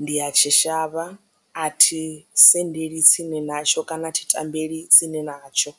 ndi ya tshi shavha a thi sendeli tsini natsho kana thi tambeli tsini natsho.